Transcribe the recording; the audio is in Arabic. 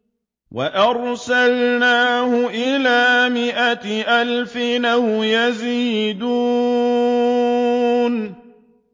وَأَرْسَلْنَاهُ إِلَىٰ مِائَةِ أَلْفٍ أَوْ يَزِيدُونَ